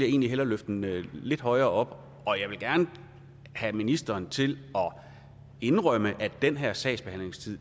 egentlig hellere løfte den lidt højere op og jeg vil gerne have ministeren til at indrømme at den her sagsbehandlingstid